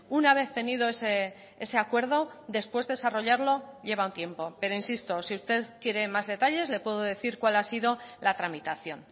una vez tenido ese acuerdo después desarrollarlo lleva un tiempo pero insisto si usted quiere más detalles le puedo decir cuál ha sido la tramitación